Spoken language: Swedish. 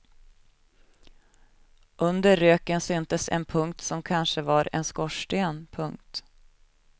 Under röken syntes en punkt som kanske var en skorsten. punkt